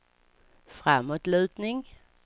framåtlutning